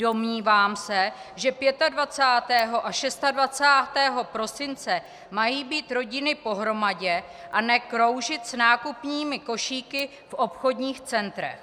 Domnívám se, že 25. a 26. prosince mají být rodiny pohromadě, a ne kroužit s nákupními košíky v obchodních centrech.